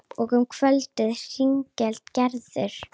Og um kvöldið hringdi Gerður.